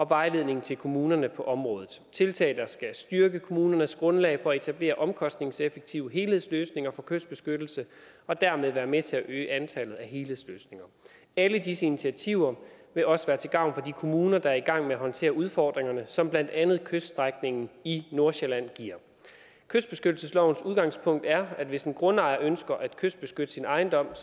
vejledning til kommunerne på området det tiltag der skal styrke kommunernes grundlag for at etablere omkostningseffektive helhedsløsninger for kystbeskyttelse og dermed være med til at øge antallet af helhedsløsninger alle disse initiativer vil også være til gavn for de kommuner der er i gang med at håndtere udfordringerne som blandt andet kyststrækningen i nordsjælland giver kystbeskyttelseslovens udgangspunkt er at hvis en grundejer ønsker at kystbeskytte sin ejendom er